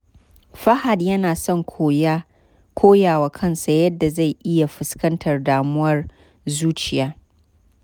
Fahad yana son koya wa kansa yadda zai iya fuskantar damuwar zuciya.